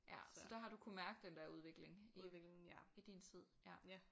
Ja så der har du kunnet mærke den der udvikling i i din tid ja